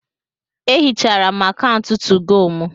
Ehichara m akaụntụ 2go mụ